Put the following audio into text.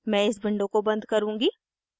मैं इस विंडो को बन्द करुँगी